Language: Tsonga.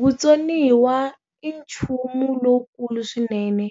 Vutsoniwa i nchumu lowukulu swinene,